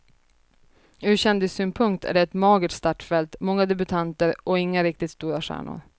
Ur kändissynpunkt är det ett magert startfält, många debutanter och inga riktigt stora stjärnor.